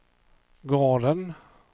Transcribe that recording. gården